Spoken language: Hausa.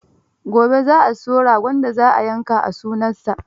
Gobe za a siyo ragon da za a yanka a sunansa.